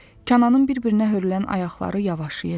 Kənanın bir-birinə hörülən ayaqları yavaşayır.